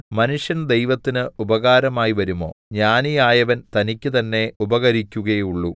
മനുഷ്യൻ ദൈവത്തിന് ഉപകാരമായിവരുമോ ജ്ഞാനിയായവൻ തനിക്ക് തന്നേ ഉപകരിക്കുകയുള്ളൂ